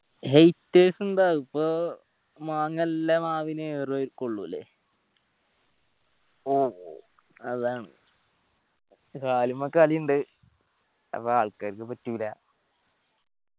haters ഇണ്ടാവും. ഇപ്പൊ മാങ്ങ എല്ലാ മാവിനു ഏർ കൊള്ളുലെ മ്മ് അതാണ്. അത് ആൾക്കാർക്ക് പറ്റൂല്ല.